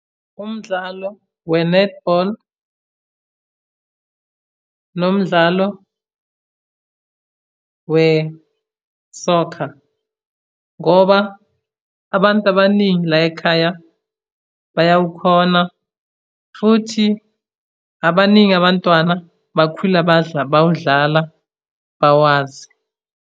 Umdlalo we-netball nomdlalo wesokha, ngoba abantu abaningi layikhaya bayawukhona, futhi abaningi abantwana bakhula bawudlala bawazi.